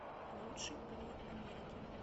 лучший повар америки